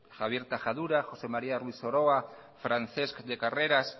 javier tajadura josé maría ruiz soroa francés de carreras